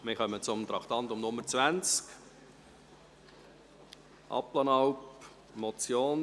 Wir kommen zum Traktandum 20, der Motion Abplanalp: